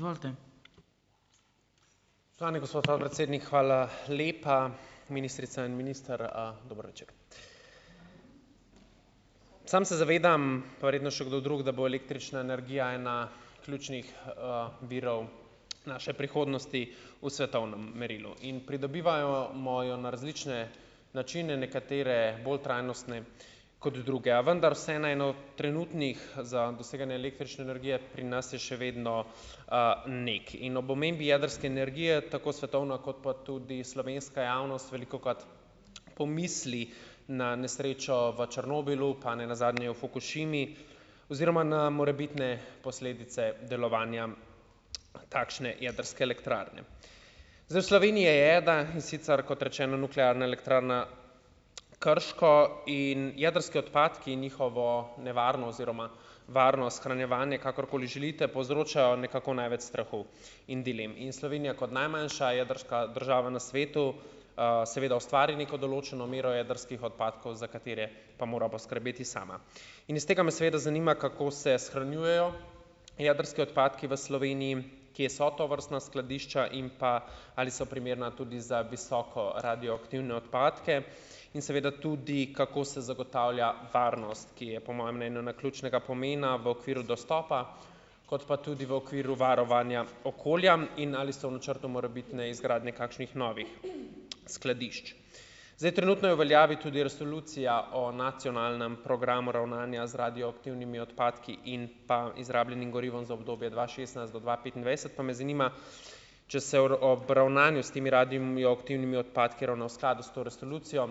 Spoštovani gospod podpredsednik, hvala lepa. Ministrica in minister, dober večer! Sam se zavedam, pa verjetno še kdo drug, da bo električna energija ena ključnih, virov, naše prihodnosti v svetovnem merilu in pridobivajo jo na različne načine, nekatere bolj trajnostne kot druge, a vendar se na eno trenutnih za doseganje električne energije pri nas je še vedno, NEK in ob omembi jedrske energije, tako svetovna kot pa tudi slovenska javnost velikokrat, pomisli na nesrečo v Černobilu pa ne nazadnje v Fukušimi oziroma na morebitne posledice delovanja, takšne jedrske elektrarne. Zdaj, v Sloveniji je ena, in sicer kot rečeno Nuklearna elektrarna, Krško in jedrski odpadki, njihovo nevarno oziroma varno shranjevanje, kakorkoli želite, povzročajo nekako največ strahu in dilem, in Slovenija kot najmanjša jedrska država na svetu, seveda ustvarja neko določeno mero jedrskih odpadkov, za katere pa mora poskrbeti sama. In iz tega me seveda zanima: Kako se shranjujejo jedrski odpadki v Sloveniji? Kje so tovrstna skladišča? In pa, ali so primerna tudi za visoko radioaktivne odpadke in seveda tudi, kako se zagotavlja varnost, ki je po mojem mnenju ključnega pomena v okviru dostopa kot pa tudi v okviru varovanja okolja. In ali so v načrtu morebitne izgradnje kakšnih novih, skladišč. Zdaj, trenutno je v veljavi tudi resolucija o nacionalnem programu ravnanja z radioaktivnimi odpadki in pa izrabljenim gorivom za obdobje dva šestnajst do dva petindvajset, pa me zanima, če se ob ravnanju s temi radioaktivnimi odpadki ravna v skladu s to resolucijo.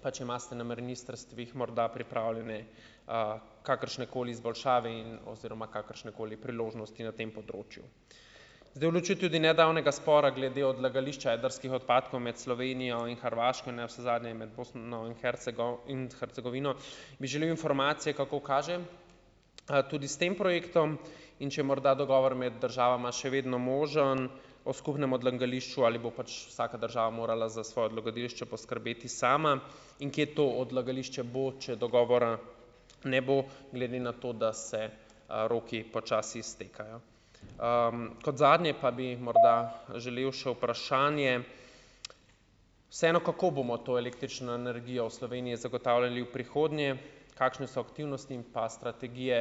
Pa če imate na ministrstvih morda pripravljene, kakršnekoli izboljšave in oziroma kakršnekoli priložnosti na tem področju. Zdaj, v luči nedavnega spora glede odlagališča jedrskih odpadkov med Slovenijo in Hrvaško in navsezadnje med Bosno in in Hercegovino, bi želel informacije, kako kaže, tudi s tem projektom, in če je morda dogovor med državama še vedno možen, o skupnem odlagališču ali bo pač vsaka država morala za svoje odlagališče poskrbeti sama, in kje to odlagališče bo, če dogovora ne bo, glede na to, da se, roki počasi iztekajo. Kot zadnje pa bi morda želel še vprašanje. Vseeno, kako bomo to električno energijo v Sloveniji zagotavljali v prihodnje. Kakšne so aktivnosti in pa strategije,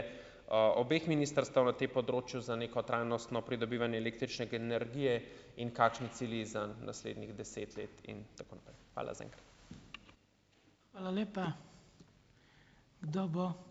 obeh ministrstev na tem področju za neko trajnostno pridobivanje električne energije in kakšni cilji za naslednjih deset let, in tako naprej. Hvala zaenkrat.